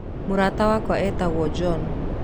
Mũrata wakwa etagũo John.